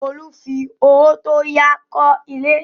Olú fi owó tó yá kọ́ ilé.